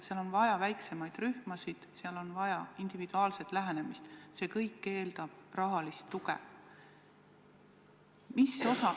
Siis on vaja väiksemaid rühmasid, on vaja individuaalset lähenemist, see kõik aga eeldab rahalist tuge.